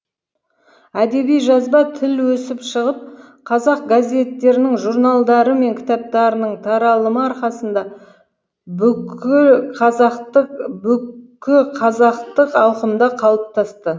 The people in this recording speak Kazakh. әдеби жазба тіл өсіп шығып қазақ газеттерінің журналдары мен кітаптарының таралымы арқасында бүкіл қазақтық ауқымда қалыптасты